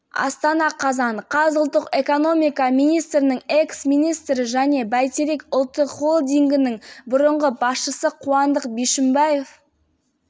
бюджеттік қаражатты жымқырған және пара алған деп айыпталып отыр деп хабарлады сыбайлас жемқорлыққа қарсы күрес